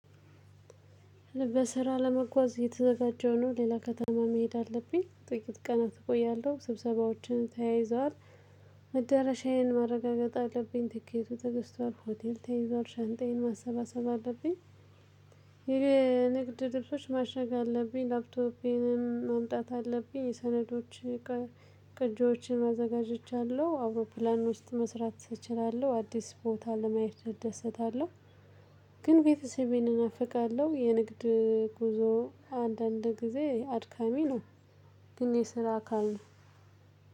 ለስራ ለመጓዝ እየተዘጋጀው ነው ሌላ ከተማ መሄድ አለብኝ ጥቂት ቀናት እቆያለሁ ስብሰባዎችን ተያይዘዋል። መዳረሻዬን ማረጋገጥ አለብኝ ትኬቱ ተግዝቷል ሆቴል ተይዘዋል ሻንጣየን ማሰባሰብ አለብኝ። ይሄ ንግድ ልብሶች ማሸግ አለብኝ ላፕቶፔንም ማምጣት አለብኝ የሰነዶች ቅጅዎችን አዘጋጅቻለሁ አውሮፕላን ውስጥ መስራት እችላለሁ አዲስ ቦታ ለማየት እደሰታለሁ። ግን ቤተሰቤን እናፍቃለሁ የንግድ ጉዞ አንዳንድ ጊዜ አድካሚ ነው። ግን የስራ አካል ነው።